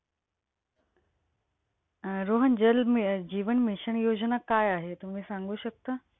अं रोहन, जल अं म जीवन मिशन योजना काय आहे? तुम्ही सांगू शकता?